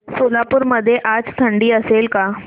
सोलापूर मध्ये आज थंडी असेल का